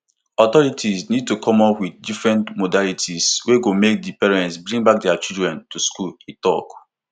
authorities need to come up with different modalities wey go make di parents bring back dia children to school e tok